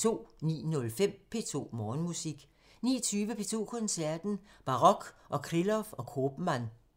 09:05: P2 Morgenmusik 19:20: P2 Koncerten – Barok med Krylov og Koopman